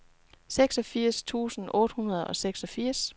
seksogfirs tusind otte hundrede og seksogfirs